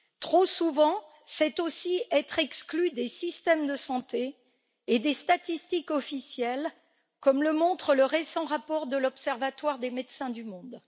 Trop souvent, c'est aussi être exclu des systèmes de santé et des statistiques officielles, comme le montre le récent rapport de l'observatoire des Médecins du monde.